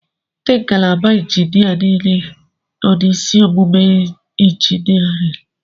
Ndị ngalaba injiniarịn niile nọ n'isi ọmụmụ injiniarịn.